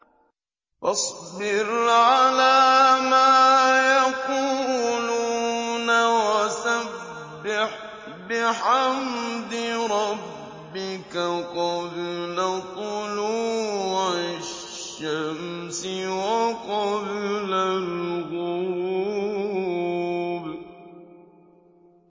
فَاصْبِرْ عَلَىٰ مَا يَقُولُونَ وَسَبِّحْ بِحَمْدِ رَبِّكَ قَبْلَ طُلُوعِ الشَّمْسِ وَقَبْلَ الْغُرُوبِ